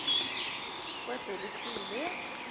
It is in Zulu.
kadelisile